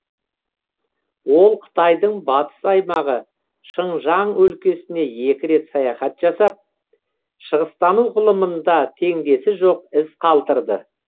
ол қытайдың батыс аймағы шыңжаң өлкесіне екі рет саяхат жасап шығыстану ғылымында теңдесі жоқ із қалдырды